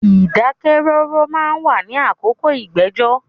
Ìdákẹ́ rọ́rọ́ ma ń wà ní àkókò ìgbẹ́jọ́.